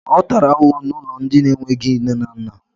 Ọ tàrà ahụhụ n'ụlọ ndị enweghị nne na nna